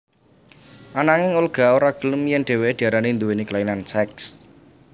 Ananging Olga ora gelem yèn dhéwéké diarani nduwéni kelainan seks